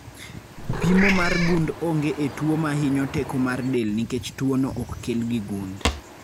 Pimo mar gund onge e tuo mahinyo teko mar del nikech tuo no ok kel gi gund